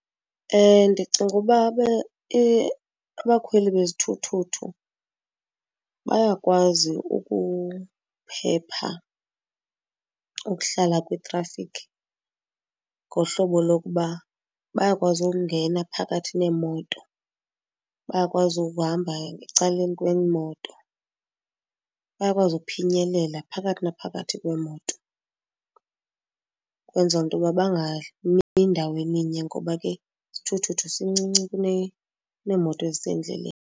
Ndicinga uba abakhweli bezithuthuthu bayakwazi ukuphepha ukuhlala kwitrafikhi ngohlobo lokuba bayakwazi ukungena phakathi neemoto, bayakwazi ukuhamba ecaleni kweemoto, bayakwazi ukuphinyelela phakathi naphakathi kweemoto. Kwenza into yoba bangami ndaweni nye ngoba ke isithuthuthu sincinci kuneemoto ezisendleleni.